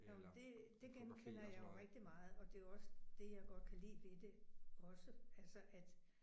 Jo men det det genkender jeg jo rigtig meget og det er jo også det jeg godt kan lide ved det også altså at